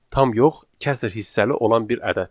Tam yox, kəsr hissəli olan bir ədəddir.